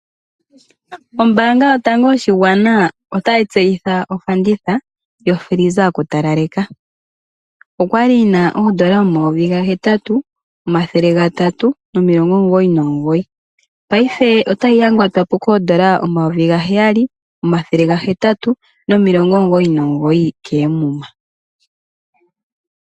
Ombaanga yotango yopashigwana otayi tseyitha ofanditha yokila yokutalaleka. Oya li yi na N$ 8 399, paife otayi yangatwa po N$ 7 899 koomuma.